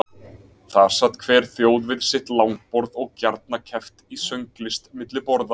Þar sat hver þjóð við sitt langborð og gjarna keppt í sönglist milli borða.